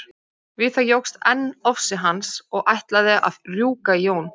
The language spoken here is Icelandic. Við það jókst enn ofsi hans og ætlaði að rjúka í Jón.